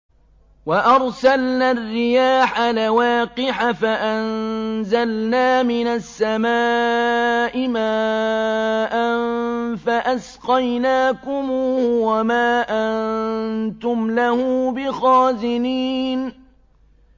وَأَرْسَلْنَا الرِّيَاحَ لَوَاقِحَ فَأَنزَلْنَا مِنَ السَّمَاءِ مَاءً فَأَسْقَيْنَاكُمُوهُ وَمَا أَنتُمْ لَهُ بِخَازِنِينَ